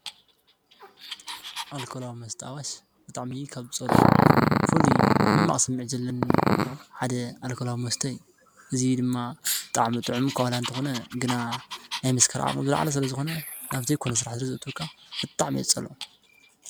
ኣልኮላዊ መስተ ኣዋሽ ብጣዕሚ ካብ ዝፀልኦ ፍሉይ ሕማቅ ስምዒት ዘለኒ ሓደ ኣልኮላዊ መስተ እዩ፡፡ እዚ ድማ ብጣዕሚ ጥዑም ዋላኳ እንተኮነ ግና ናይ ምስካር ዓቅሙ ዝልዓለ ስለዝኮነ ናብ ዘይኮነ ስራሕ ስለዘእትወካ ብጣዕሚ እየ ዝፀልኦ፡፡